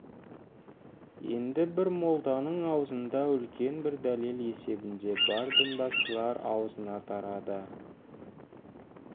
енді бір молданың аузында үлкен бір дәлел есебінде бар дінбасылар аузына тарады